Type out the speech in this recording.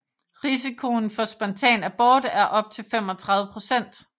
Risikoen for spontan abort er op til 35 procent